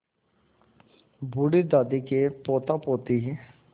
बूढ़ी दादी के पोतापोती